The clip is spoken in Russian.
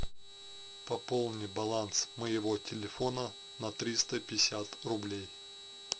пополни баланс моего телефона на триста пятьдесят рублей